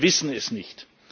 kommt? Wir wissen es